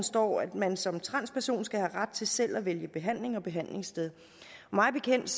står at man som transperson skal have ret til selv at vælge behandling og behandlingssted mig bekendt